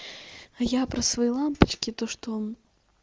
а я про свои лампочки то что